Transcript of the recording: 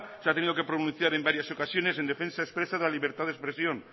se ha tenido que pronunciar en varias ocasiones en defensa expresa de la libertad de expresión